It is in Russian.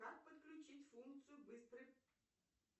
как подключить функцию быстрый